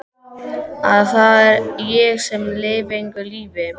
Að það er ég sem lifi engu lífi.